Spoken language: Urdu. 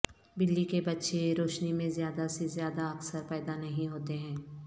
بلی کے بچے روشنی میں زیادہ سے زیادہ اکثر پیدا نہیں ہوتے ہیں